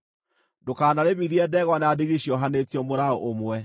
Ndũkanarĩmithie ndegwa na ndigiri ciohanĩtio mũraũ ũmwe.